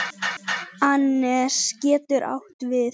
Annes getur átt við